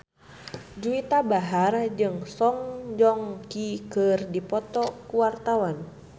Juwita Bahar jeung Song Joong Ki keur dipoto ku wartawan